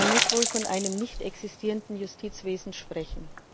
Man muss wohl von einem nicht existierenden Justizwesen sprechen.